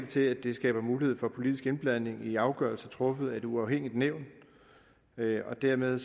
til at det skaber mulighed for politisk indblanding i afgørelser truffet af et uafhængigt nævn og dermed